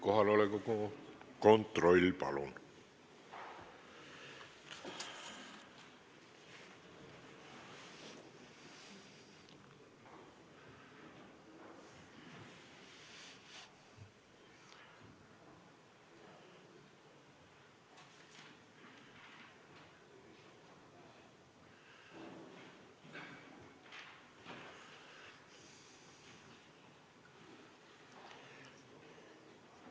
Kohaloleku kontroll, palun!